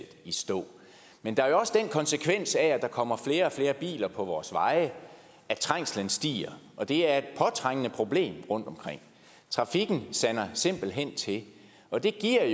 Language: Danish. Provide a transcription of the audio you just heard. i stå men der er jo også den konsekvens af at der kommer flere og flere biler på vores veje at trængslen stiger og det er et påtrængende problem rundtomkring trafikken sander simpelt hen til og det giver